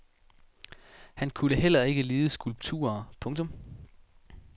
Han kunne heller ikke lide skulpturer. punktum